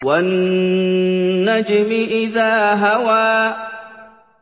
وَالنَّجْمِ إِذَا هَوَىٰ